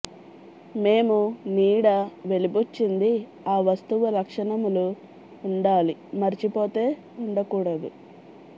మేము నీడ వెలిబుచ్చింది ఆ వస్తువు లక్షణములు ఉండాలి మర్చిపోతే ఉండకూడదు